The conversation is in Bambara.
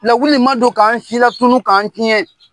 Lawuli ma don k'an silakunun k'an tiɲɛ